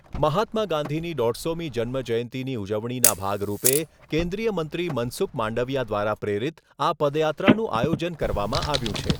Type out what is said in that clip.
મહાત્મા ગાંધીની દોઢસોમી જન્મ જયંતીની ઉજવણીના ભાગરૂપે કેન્દ્રીય મંત્રી મનસુખ માંડવીયા દ્વારા પ્રેરીત આ પદયાત્રાનું આયોજન કરવામાં આવ્યું છે.